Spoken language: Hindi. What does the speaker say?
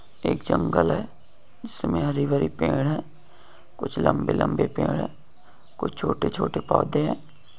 एक जंगल है जिसमें हरी भरी पेड़ है कुछ लम्बे-लम्बे पेड़ है कुछ छोटे-छोटे पौधे है।